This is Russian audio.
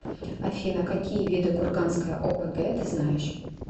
афина какие виды курганская опг ты знаешь